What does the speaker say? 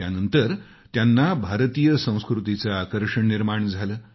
त्यानंतर त्यांना भारतीय संस्कृतीचं आकर्षण निर्माण झालं